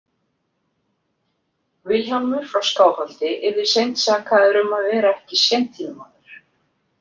Vilhjálmur frá Skáholti yrði seint sakaður um að vera ekki séntílmaður.